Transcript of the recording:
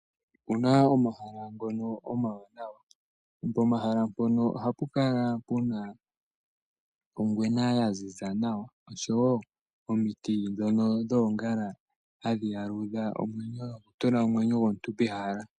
Opuna omahala ngono omawanawa pomahala mpono ohapu kala puna ongwena yaziza nawa nomiti ndhono dhoongala hadhi yaludha omwenyo nokutula omwenyo gomuntu ehala.